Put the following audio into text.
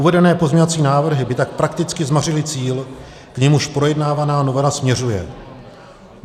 Uvedené pozměňovací návrhy by tak prakticky zmařily cíl, k němuž projednávaná novela směřuje.